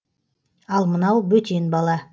ал мынау бөтен бала